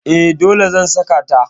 E, dole zan saka ta.